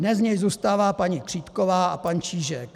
Dnes z nich zůstává paní Křítková a pan Čížek.